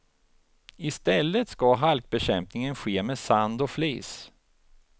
I stället ska halkbekämpningen ske med sand och flis.